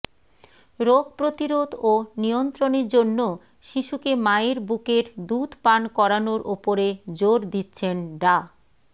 রোগ প্রতিরোধ ও নিয়ন্ত্রণের জন্য শিশুকে মায়ের বুকের দুধ পান করানোর ওপরে জোর দিচ্ছেন ডা